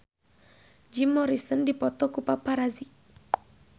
Jim Morrison dipoto ku paparazi